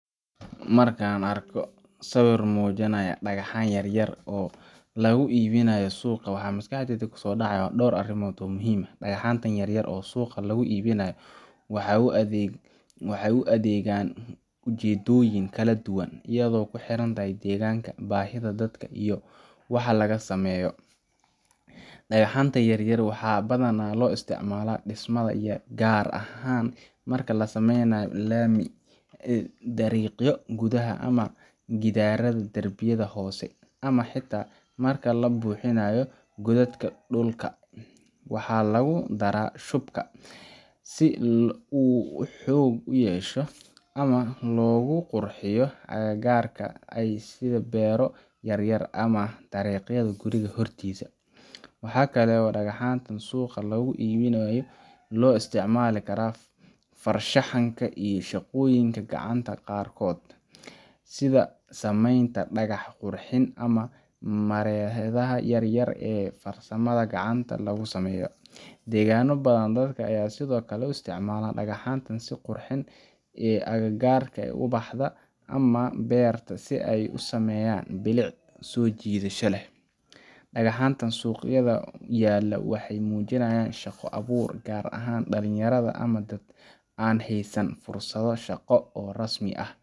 Markan arko sawir mujinayo dagaxyan yar yar oo lagu ibinayo suqa waxaa maskaxdeyda kuso dacaya dor arimod, dagaxantan yar yar oo suqa lagu ibinayo waxee u adhegan ujedoyin kala duwan iyada oo ee ku xirantahay bah waxa laga sameyo, marka lasameynayo lami ama darbiyo, waxaa kalo digaxanta suqa lagu ibinayo farshaxanta daqanka, ama beerta si ee usameyan bilic sojidato leh, dalin yaraada an hesan fursado shaqo.